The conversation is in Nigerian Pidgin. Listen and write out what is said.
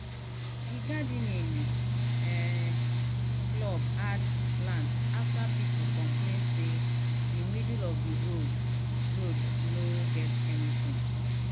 the gardening um club add plant after people complain say the middle of the road road no get anything.